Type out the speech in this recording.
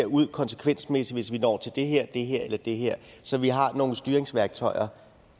ud konsekvensmæssigt hvis vi når til det her det her eller det her så vi har nogle styringsværktøjer